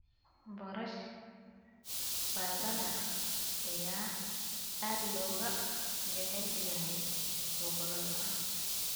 Boorash baradhada ayaa aad looga jecel yahay gobollada.